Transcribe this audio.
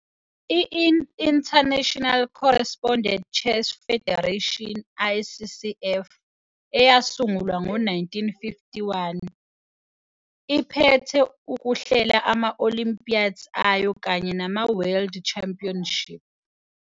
I-International Correspondence Chess Federation, ICCF, eyasungulwa ngo-1951, iphete ukuhlela ama-Olympiads ayo kanye nama-World Champinships.